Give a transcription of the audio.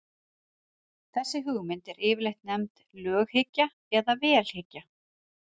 þessi hugmynd er yfirleitt nefnd löghyggja eða vélhyggja